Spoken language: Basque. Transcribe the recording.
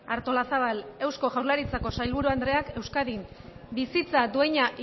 artolazabal eusko jaurlaritzako sailburu andreak euskadin bizitza duina